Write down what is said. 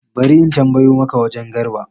Bari in tambayo maka wagen Garba